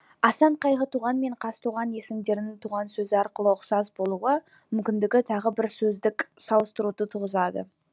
асан қайғы туған мен қазтуған есімдерінің туған сөзі арқылы ұқсас болуы мүмкіндігі тағы бір сөздік салыстыруды туғызады